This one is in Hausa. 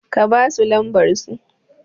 ka basu lamsbarsa